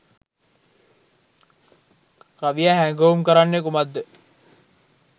කවියා හැඟවුම් කරන්නේ කුමක්ද?